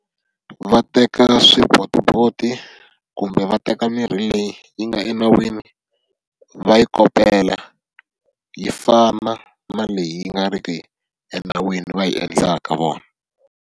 Va teka swibotiboti kumbe va teka mirhi leyi yi nga enawini va yi kopela, yi fana na leyi yi nga ri ki enawini va yi endlaka vona.